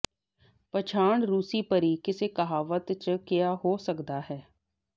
ਪਛਾਣ ਰੂਸੀ ਪਰੀ ਕਿੱਸੇ ਕਹਾਵਤ ਜ ਕਿਹਾ ਹੈ ਹੋ ਸਕਦਾ ਹੈ